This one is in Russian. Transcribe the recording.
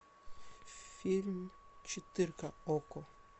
фильм четырка окко